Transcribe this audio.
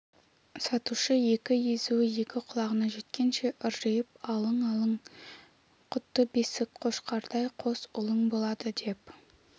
сатушы екі езуі екі құлағына жеткенше ыржиып алың алың құтты бесік қошқардай қос ұлың болады деп